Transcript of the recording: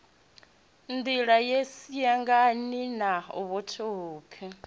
nḓila ye siangane na fhethuvhupo